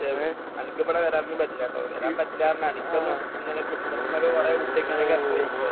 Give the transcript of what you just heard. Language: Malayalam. പക്ഷെ നിനക്കിവിടെ വരാനൊന്നും പറ്റില്ലാട്ടോ. വരാൻ പറ്റില്ലായെന്ന്. നിനക്കൊന്നും ഇങ്ങനെ കുടുംബത്തിൽ നിന്ന് കുറെ കുട്ടികളൊക്കെ ഉണ്ടല്ലോ.